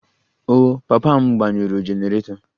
Oh, papa m gbanyụrụ generator